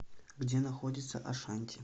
где находится ашанти